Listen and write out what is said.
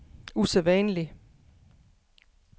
usædvanlig